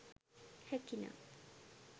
හැකි නම්